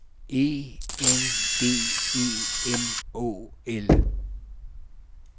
E N D E M Å L